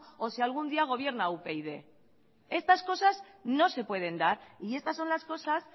o si algún día gobierno upyd estas cosas no se pueden dar y estas son las cosas